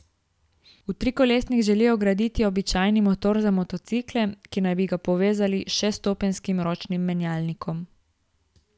V trikolesnik želijo vgraditi običajni motor za motocikle, ki bi ga povezali s šeststopenjskim ročnim menjalnikom.